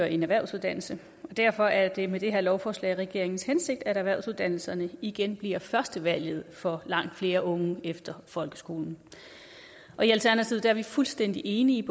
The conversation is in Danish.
en erhvervsuddannelse derfor er det med det her lovforslag regeringens hensigt at erhvervsuddannelserne igen bliver førstevalget for langt flere unge efter folkeskolen i alternativet er vi fuldstændig enige